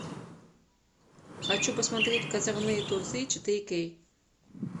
хочу посмотреть козырные тузы четыре кей